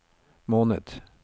måned